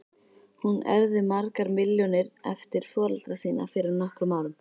Hún erfði margar milljónir eftir foreldra sína fyrir nokkrum árum.